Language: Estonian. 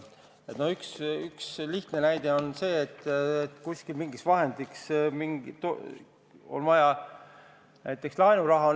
No üks lihtne näide on see, et kusagil on vaja näiteks laenuraha.